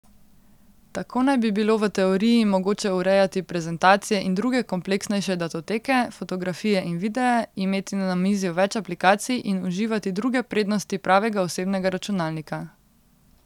Tako naj bi bilo v teoriji mogoče urejati prezentacije in druge kompleksnejše datoteke, fotografije in videe, imeti na namizju več aplikacij in uživati druge prednosti pravega osebnega računalnika.